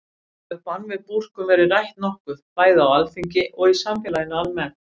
Þó hefur bann við búrkum verið rætt nokkuð, bæði á Alþingi og í samfélaginu almennt.